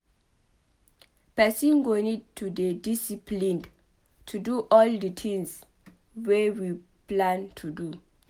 Person go need to dey disciplined to do all di tins wey we plan to do